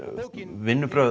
vinnubrögð